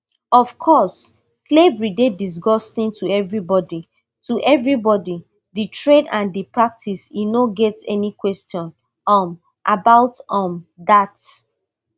of course slavery dey disgusting to everybody to everybody di trade and di practice e no get any question um about um dat